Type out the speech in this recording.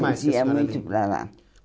Mas isso era ali Eu ia muito para lá.